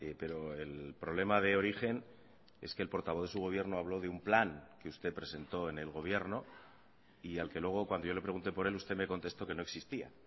pero el problema de origen es que el portavoz de su gobierno habló de un plan que usted presentó en el gobierno y al que luego cuando yo le pregunte por él usted me contestó que no existía